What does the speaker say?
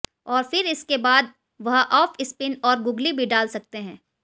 और फिर इसके बाद वह आफ स्पिन और गूगली भी डाल सकते हैं